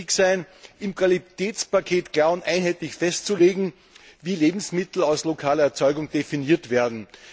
wird wichtig sein, im Qualitätspaket klar und einheitlich festzulegen, wie Lebensmittel aus lokaler Erzeugung definiert werden.